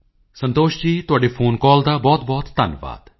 ਸੰਤੋਸ਼ ਜੀ ਤੁਹਾਡੇ phone call ਦਾ ਬਹੁਤਬਹੁਤ ਧੰਨਵਾਦ